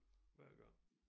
Hver gang